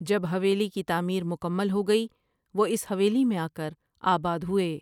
جب حویلی کی تعمیر مکمل ہو گئی وہ اس حویلی میں آکر آباد ہوئے ۔